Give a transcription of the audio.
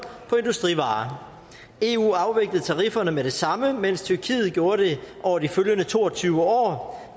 på industrivarer eu afviklede tarifferne med det samme mens tyrkiet gjorde det over de følgende to og tyve år